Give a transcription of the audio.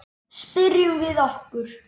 Spyrjum við okkur.